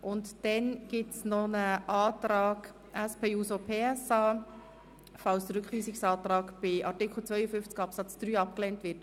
Und dann gibt es noch einen Antrag SP-JUSO-PSA, für den Fall, dass der Rückweisungsantrag zu Artikel 52 Absatz 3 abgelehnt wird.